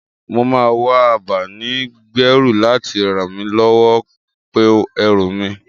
Mo máa wá abáni-gbẹ́rù láti ràn mí lọ́wọ́ pèú ẹrù mi.